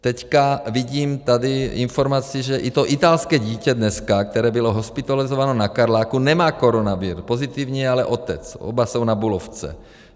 Teď vidím tady informaci, že i to italské dítě dneska, které bylo hospitalizováno na Karláku, nemá koronavir, pozitivní je ale otec, oba jsou na Bulovce.